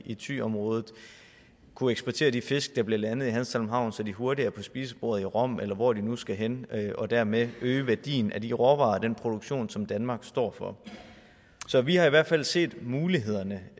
i thyområdet kunne eksportere de fisk der bliver landet i hanstholm havn så de hurtigere er på spisebordet i rom eller hvor de nu skal hen og dermed øge værdien af de råvarer og den produktion som danmark står for så vi har i hvert fald set mulighederne